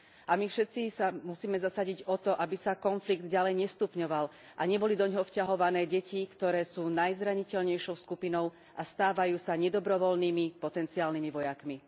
A my všetci sa musíme zasadiť o to, aby sa konflikt ďalej nestupňoval a neboli doňho vťahované deti, ktoré sú najzraniteľnejšou skupinou a stávajú sa nedobrovoľnými potenciálnymi vojakmi.